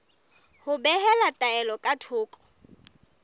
ho behela taelo ka thoko